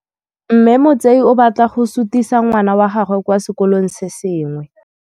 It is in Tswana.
Mme Motsei o batla go sutisa ngwana wa gagwe kwa sekolong se sengwe.